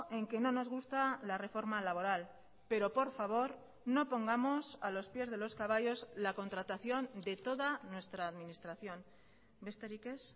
en que no nos gusta la reforma laboral pero por favor no pongamos a los pies de los caballos la contratación de toda nuestra administración besterik ez